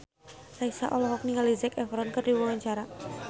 Raisa olohok ningali Zac Efron keur diwawancara